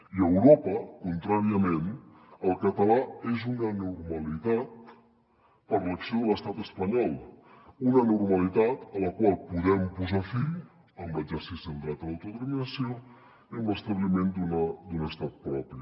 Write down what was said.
i a europa contràriament el català és una anormalitat per l’acció de l’estat espanyol una anormalitat a la qual podem posar fi amb l’exercici del dret a l’autodeterminació i amb l’establiment d’un estat propi